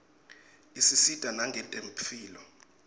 isisita nangetemphilo